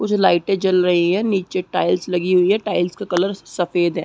कुछ लाइटे जल रही है नीचे टाइल्स लगी हुई है टाइल्स का कलर सफ़ेद है।